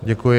Děkuji.